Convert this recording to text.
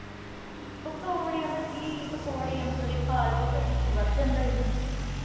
ਪਕੌੜਿਆਂ ਦਾ ਕੀ। ਪਕੌੜੇ ਔਂਤਰੇ ਖਾ ਲੀਏ ਤਾਂ ਸਾਡਾ BP ਵਧ ਜਾਂਦਾ ਈ